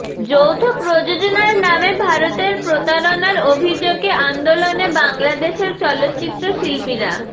যৌথ প্রযোজনার নামে ভারতের প্রতারণার অভিযোগে আন্দোলনে বাংলাদেশের চলচ্চিত্র শিল্পীরা